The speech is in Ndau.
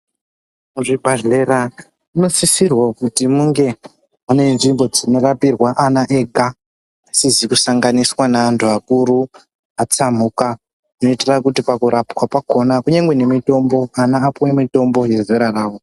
Muzvibhedhlera munosisirwa kuti munge mune nzvimbo dzinorapirwa ana ega asizi kusanganiswa neantu akuru atsamuka zvinoita kuti pakurapwa kwakona pakupuwa mitombo ana apiwe mitombo yezera rawo.